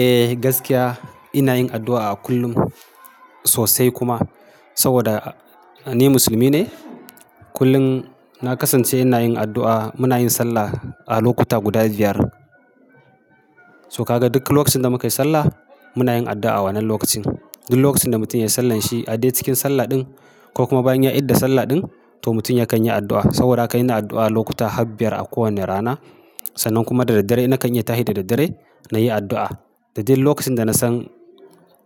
Eh gaskiya ina yin addu'a a kullum sosai kuma. Saboda ni musulmi ne. Kullum na kasance ina yin addu'a muna yin sallah a lokuta guda biyar. To ka ga duk lokacin da muka yi sallah muna yin addu'a a wannan lokacin. Duk lokacin da mutum ya sallan shi a day cikin sallah ɗin ko kuma bayan ya idda sallah ɗin to mutum ya kan yi addu'a. Saboda haka ina addu'a lokuta habbiyar a kowane rana sannan kuma da daddare na kan iya tashi da daddare na yi addu'a. Da duk lokacin da na san,